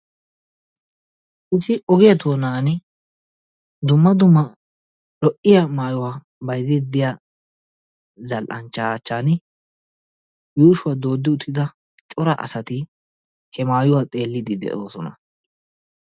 Issi ogiyaa doonani dumma dumma lo"iyaa mayuwaa bayzzidi de'iyaa zal"anchchaa achchan yuushshuwaa dooddi uttida cora asati he maayuwaa xeelliidi de"oosona.